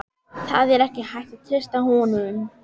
Það er ekki hægt að treysta honum.